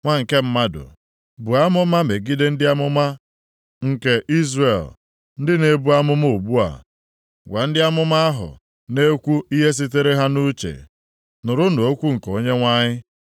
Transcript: “Nwa nke mmadụ, buo amụma megide ndị amụma nke Izrel ndị na-ebu amụma ugbu a, gwa ndị amụma ahụ na-ekwu ihe sitere ha nʼuche: ‘Nụrụnụ okwu nke Onyenwe anyị.